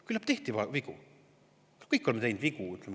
Küllap tehti vigu, me kõik oleme teinud vigu.